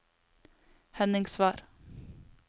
Henningsvær